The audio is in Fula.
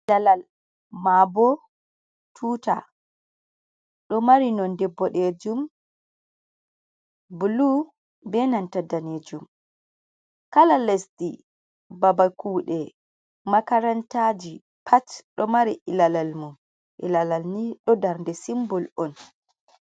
Ilalal maabo tuuta, ɗo mari nonde boɗeejum, bulu, be nanta daneejum, kala lesdi, babal kuuɗe, makarantaaji pat, ɗo mari ilalal mum, ilalal ni ɗo darnde simbul on.